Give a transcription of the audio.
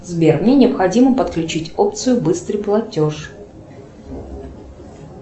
сбер мне необходимо подключить опцию быстрый платеж